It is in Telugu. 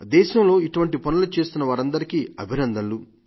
దేశంలో ఇటువంటి పనులు చేస్తున్న వారందరికీ అభినందనలు